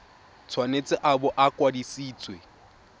tshwanetse a bo a kwadisitswe